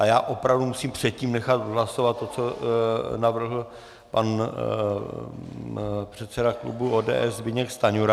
A já opravdu musím předtím nechat hlasovat to, co navrhl pan předseda klubu ODS Zbyněk Stanjura.